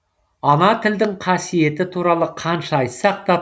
ана тілдің қасиеті туралы қанша айтсақ та